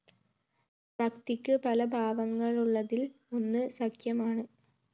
ഭക്തിക്ക്‌ പലഭാവങ്ങളുള്ളതില്‍ ഒന്ന്‌ സഖ്യമാണ്‌